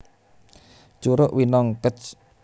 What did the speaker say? Curug Winong Kec